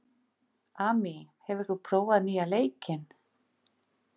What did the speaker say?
Amy, hefur þú prófað nýja leikinn?